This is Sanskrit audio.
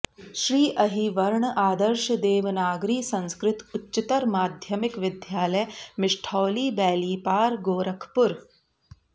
श्री अहिवर्ण आदर्श देवनागरी संस्कृत उच्चतर माध्यमिक विद्यालय मिष्ठौली बेलीपार गोरखपुर